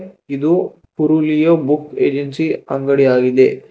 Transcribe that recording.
ಇದು ಉರುಲಿಯೋ book agency ಅಂಗಡಿ ಆಗಿದೆ.